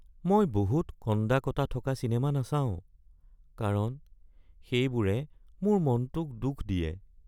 মই বহুত কন্দা-কটা থকা চিনেমা নাচাওঁ কাৰণ সেইবোৰে মোৰ মনটোক দুখ দিয়ে।